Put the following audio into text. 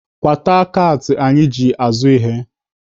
Kwata kaatị anyị ji azụ ihe!